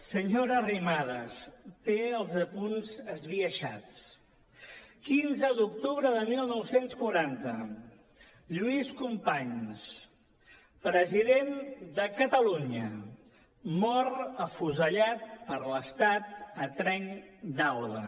senyora arrimadas té els apunts esbiaixats quinze d’octubre de dinou quaranta lluís companys president de catalunya mor afusellat per l’estat a trenc d’alba